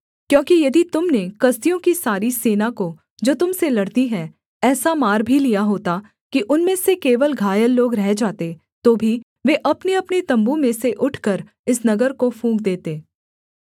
क्योंकि यदि तुम ने कसदियों की सारी सेना को जो तुम से लड़ती है ऐसा मार भी लिया होता कि उनमें से केवल घायल लोग रह जाते तो भी वे अपनेअपने तम्बू में से उठकर इस नगर को फूँक देते